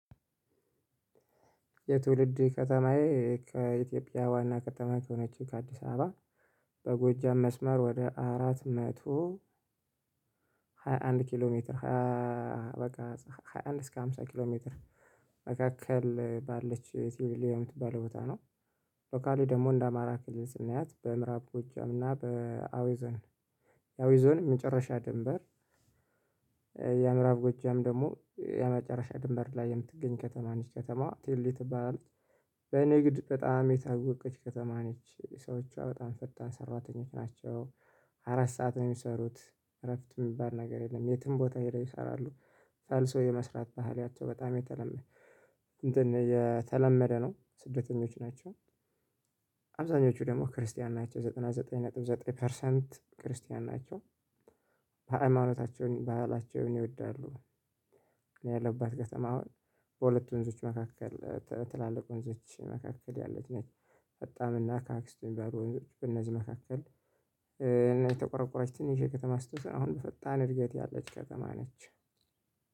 የትውልድ ከተማዬ እ ከኢትዮጵያ ዋና ከተማ ከሆነችው ከአዲስ አበባ በጎጃም መስመር ወደ አራት መቶ ሃያ አንድ ኪሎ ሜትር ሃያ በቃ ሃያ አንድ እስከ ሃምሳ ኪሎ ሜትር መካከል ባለች የቲዩሊዮን የምትባለው ቦታ ነው። ሎካሊ ደግሞ እንደ አማራ ክልል ስናያት በምዕራብ ጎጃም እና በአዊ ዞን የአዊ ዞን መጨረሻ ድንበር። የምዕራብ ጎጃም ደግሞ የመጨረሻ ድንበር ላይ የምትገኝ ከተማ ነች ከተማዋ ትልሊ ትባላለች። በንግድ በጣም የታወቀች ከተማ ነች ሰዎቿ በጣም ፈጣን ሰራተኞች ናቸው። አራት ሰዓት ነው የሚሰሩት። እረፍት የሚባል ነገር የለም የትም ቦታ ሄደው ይሰራሉ። ፈልሶ የመስራት ባህላቸው በጣም የተለመደ እንትን የተለመደ ነው ስደተኞች ናቸው። አብዛኞቹ ደግሞ ክርስቲያን ናቸው ዘጠና ዘጠኝ ነጥብ ዘጠኝ ፐርሰንት ክርስቲያን ናቸው። በ ሀይማኖታቸውን ባህላቸውን ይወዳሉ። እኔ ያለሁባት ከተማ አሁን በሁለት ወንዞች መካከል እ ትላልቅ ወንዞች መካከል ያለች ነች። ፈጣን እና ከአክስቱ የሚባል ወንዞች በእነዚህ መካከል እ የተቆረቆረች ትንሽዬ ከተማ ስትሆን አሁን በፈጣን እድገት ያለች ከተማ ነች።